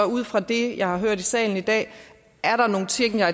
ud fra det jeg har hørt i salen i dag er nogle ting jeg